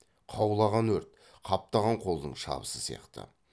қаулаған өрт қаптаған қолдың шабысы сияқты